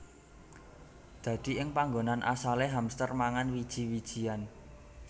Dadi ing panggonan asale hamster mangan wiji wijian